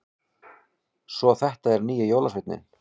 Svo þetta er nýji jólasveininn!